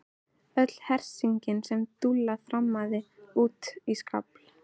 Öll hersingin nema Dúlla þrammaði út í skafl.